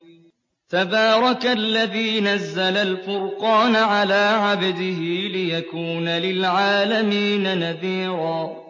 تَبَارَكَ الَّذِي نَزَّلَ الْفُرْقَانَ عَلَىٰ عَبْدِهِ لِيَكُونَ لِلْعَالَمِينَ نَذِيرًا